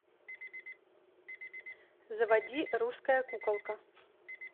заводи русская куколка